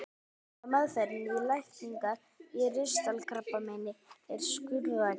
Mikilvægasta meðferðin til lækningar á ristilkrabbameini er skurðaðgerð.